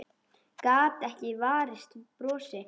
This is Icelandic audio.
Gat ekki varist brosi.